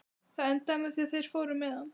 Það endaði með því að þeir fóru með hann.